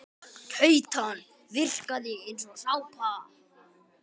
Keytan virkaði eins og sápa.